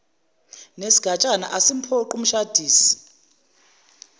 nesigatshana asimphoqi umshadisi